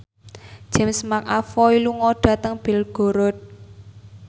James McAvoy lunga dhateng Belgorod